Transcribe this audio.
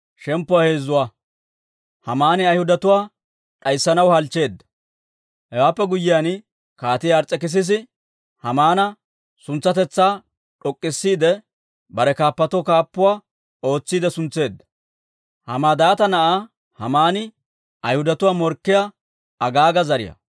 Hewaappe guyyiyaan, Kaatii Ars's'ekissisi Haamaana suntsatetsaa d'ok'k'isiide, bare kaappatoo kaappuwaa ootsiide suntseedda. Hamadaatta na'aa Haamaan Ayhudatuwaa morkkiyaa, Agaaga zariyaa.